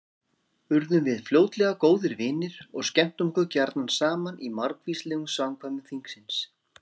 Urðum við fljótlega góðir vinir og skemmtum okkur gjarna saman í margvíslegum samkvæmum þingsins.